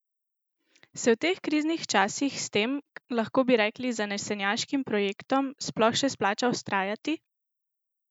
Se v teh kriznih časih s tem, lahko bi rekli, zanesenjaškim projektom sploh še splača vztrajati?